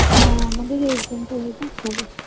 হ্যাঁ আমাদের exam টা হয়ে যাক